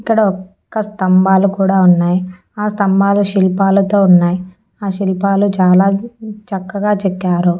ఇక్కడ ఒక స్తంభాలు కూడా ఉన్నాయ్ ఆ స్తంభాలు శిల్పాలతో ఉన్నాయ్ ఆ శిల్పాలు చాలా చక్కగా చెక్కారు.